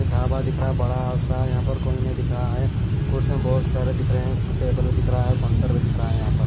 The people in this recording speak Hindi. धाबा दिख रहा है बड़ा आ आ सा यहां पर कोई नहीं दिख रहा है कुर्सन बहुत सारे दिख रहे हैं टेबल भी दिख रहा है और काउंटर भी दिख रहा है यहां पे।